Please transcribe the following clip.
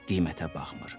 o qiymətə baxmır.